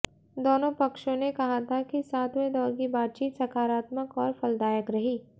दोनों पक्षों ने कहा था कि सातवें दौर की बातचीत सकारात्मक और फलदायक रही